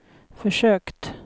försökt